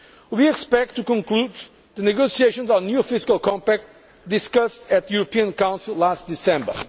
We expect to conclude the negotiations on the new fiscal compact', discussed at the European Council last December.